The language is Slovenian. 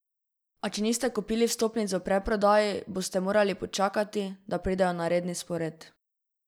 A če niste kupili vstopnic v predprodaji, boste morali počakati, da pridejo na redni sporedu.